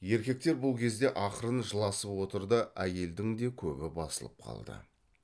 еркектер бұл кезде ақырын жыласып отыр да әйелдің де көбі басылып қалды